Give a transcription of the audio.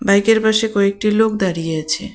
বাইকের পাশে কয়েকটি লোক দাঁড়িয়ে আছে।